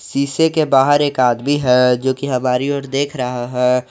शीशे के बाहर एक आदमी है जो कि हमारी ओर देख रहा है।